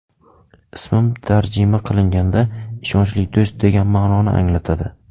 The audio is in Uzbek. Ismim tarjima qilinganda ‘ishonchli do‘st’ degan ma’noni anglatadi.